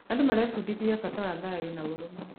Andũ marebundithia bata wa thayũ na ũrũmwe.